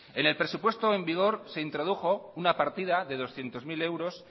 en el presupuesto en vigor se introdujo una partida de doscientos mil euros